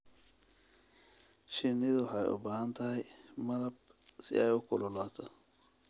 Shinnidu waxay u baahan tahay malab si ay u kululaato.